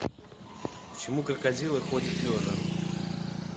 почему крокодилы ходят лежа